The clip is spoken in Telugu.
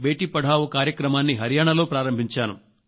బేటీ పడావో కార్యక్రమాన్ని హరియాణాలో ప్రారంభించాను